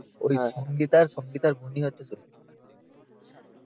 ওই সঙ্গীতা আর সঙ্গীতার হচ্ছে সে,